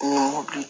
Ni n ko bi